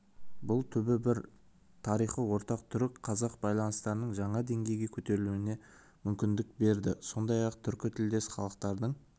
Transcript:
бұл түбі бір тарихы ортақ түрік-қазақ байланыстарының жаңа деңгейге көтерілуіне мүмкіндік берді сондай-ақ түркітілдес халықтардың